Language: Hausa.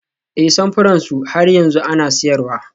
Ee, samfuran su har yanzu ana siyarwa